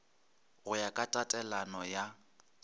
go ya ka tatelano ya